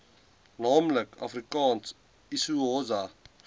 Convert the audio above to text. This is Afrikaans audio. naamlik afrikaans isixhosa